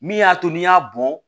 Min y'a to n'i y'a bɔn